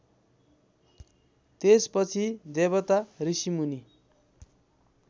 त्यसपछि देवता ऋषिमुनि